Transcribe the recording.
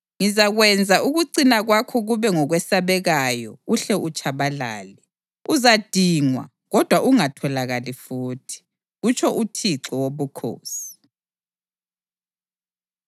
Ngizakwenza ukucina kwakho kube ngokwesabekayo uhle utshabalale. Uzadingwa, kodwa ungatholakali futhi, kutsho uThixo Wobukhosi.”